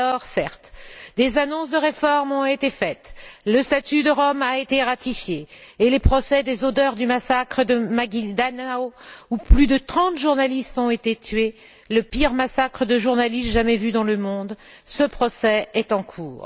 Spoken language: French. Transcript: Certes, des annonces de réformes ont été faites, le statut de Rome a été ratifié et le procès des auteurs du massacre de Maguindanao, où plus de trente journalistes ont été tués, le pire massacre de journalistes jamais vu dans le monde, est en cours.